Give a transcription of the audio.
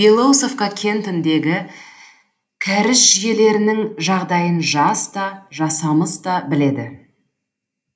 белоусовка кентіндегі кәріз жүйелерінің жағдайын жас та жасамыс та біледі